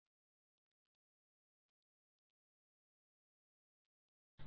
pie chart